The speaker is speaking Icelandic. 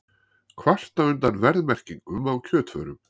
Kvarta undan verðmerkingum á kjötvörum